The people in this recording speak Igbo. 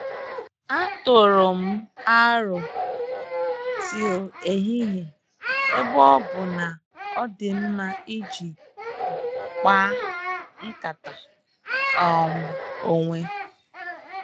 A tụrụ m arọ tii ehihie ebe ọ bụ na odinma iji kpar nkata um onwe